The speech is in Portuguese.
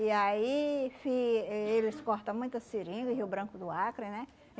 E aí fi eh eles cortam muita seringa, Rio Branco do Acre, né?